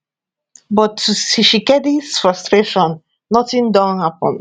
but to tshisikedi frustration notin don happun